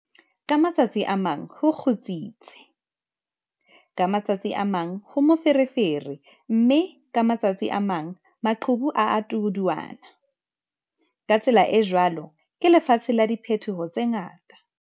Ka matsatsi a mang ho kgutsitse, ka ma tsatsi a mang ho moferefere mme ka matsatsi a mang maqhubu a a tuduana, ka tsela e jwalo ke lefatshe la diphetoho tse ngata!